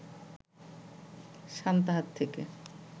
সান্তাহার থেকে